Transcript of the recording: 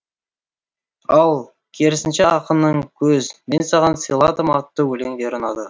ал керісінше ақынның көз мен саған сыйладым атты өлеңдері ұнады